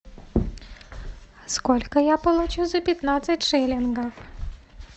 сколько я получу за пятнадцать шиллингов